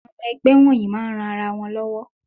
Àwọn ọmọ ẹgbẹ́ wonyìí máa ń ran ara wọn lowo.